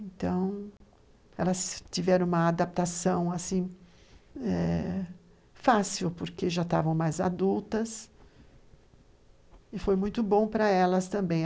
Então, elas tiveram uma adaptação assim fácil eh, porque já estavam mais adultas, e foi muito bom para elas também.